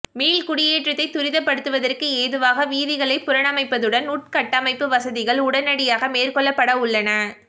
மீள் குடியேற்றத்தை துரிதப்படுத்துவதற்கு ஏதுவாக வீதிகளை புனரமைப்பதுடன் உட்கட்டமைப்பு வசதிகள் உடனடியாக மேற்கொள்ளப்படவுள்ளன